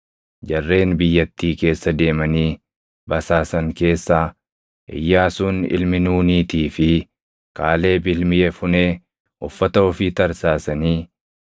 Jarreen biyyattii keessa deemanii basaasan keessaa Iyyaasuun ilmi Nuuniitii fi Kaaleb ilmi Yefunee uffata ofii tarsaasanii,